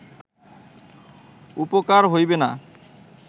উপকার হইবে না